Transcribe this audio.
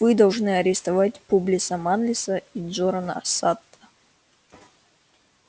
вы должны арестовать публиса манлиса и джорана сатта